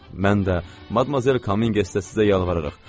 Mən də, Madmazel Komiges də sizə yalvarırıq.